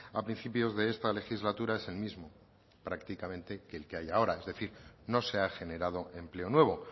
a principios de esta legislatura es el mismo prácticamente que el que hay ahora es decir no se ha generado empleo nuevo